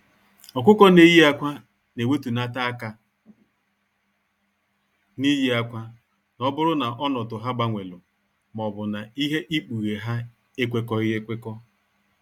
Ọkụkọ n'eyi akwa na ewetunata aka n'ịye akwa, n'oburu na ọnọdụ ha gbanwelu maọbu na ihe ikpughe ha ekwekọghi ekwekọ.